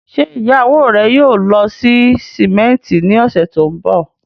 Ṣé ìyàwó rẹ̀ yóò lọ sí símẹ́ńtì ní ọ̀sẹ̀ tó ń bọ̀?